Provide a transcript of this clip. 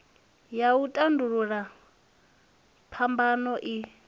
ya u tandulula phambano i